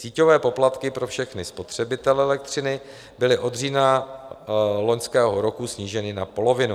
Síťové poplatky pro všechny spotřebitele elektřiny byly od října loňského roku sníženy na polovinu.